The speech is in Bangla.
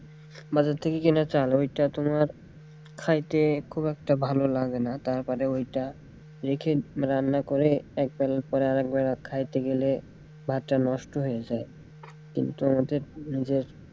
বাজার থেকে কিনা চাল ওইটা তোমার খাইতে খুব একটা ভালো লাগেনা তারপরে ওইটা রেখে রান্না করে এক বেলার পরে আরেক বেলা খাইতে গেলে ভাতটা নষ্ট হয়ে যায় কিন্তু আমাদের যে,